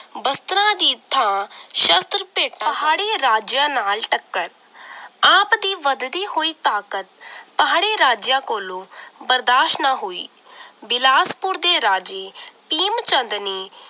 ਵਸਤਰਾਂ ਦੀ ਥਾਂ ਸ਼ਸਤਰ ਭੇਟਾਂ ਪਹਾੜੀ ਰਾਜਿਆਂ ਨਾਲ ਟੱਕਰ ਆਪ ਦੀ ਵੱਧਦੀ ਹੋਈ ਤਾਕਤ ਪਹਾੜੀ ਰਾਜਿਆਂ ਕੋਲੋਂ ਬਰਦਾਸ਼ ਨਾ ਹੋਈ ਬਿਲਾਸਪੁਰ ਦੇ ਰਾਜੇ ਭੀਮ ਚੰਦ ਨੇ